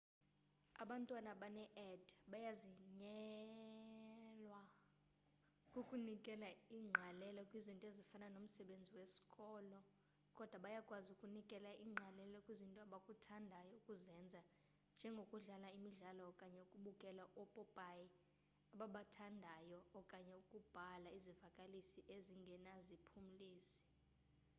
abantwana abane-add bayanzinyelwa kukunikela ingqalelo kwizinto ezifana nomsebenzi wesikolo kodwa bayakwazi ukunikela ingqalelo kwizinto abakuthandayo ukuzenza njengokudlala imidlalo okanye ukubukela oopopayi ababathandayo okanye ukubhala izivakalisi ezingenaziphumlisi